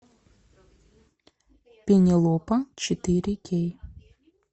пенелопа четыре кей